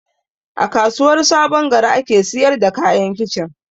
A kasuwar sabongari ake siyar da kayan kicin